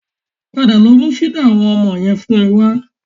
Padà lọ mú fídà àwọn ọmọ yẹn fún mi wa